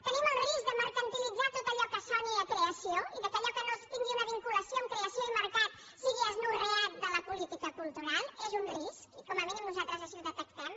tenim el risc de mercantilitzar tot allò que soni a creació i que allò que no tingui una vincu·lació amb creació i mercat sigui anorreat de la política cultural és un risc i com a mínim nosaltres així ho detectem